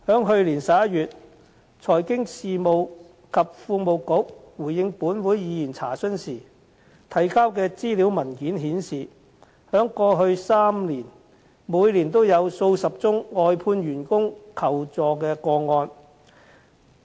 去年11月財經事務及庫務局回應本會議員查詢時提交的資料文件顯示，在過去3年，每年也有數十宗外判員工求助個案。